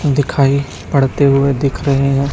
दिखाई पढ़ते हुए दिख रहे हैं।